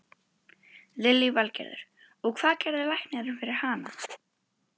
Lillý Valgerður: Og, hvað gerði læknirinn fyrir hana?